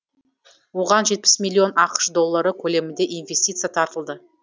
оған жетпіс миллион ақш доллары көлемінде инвестиция тартылды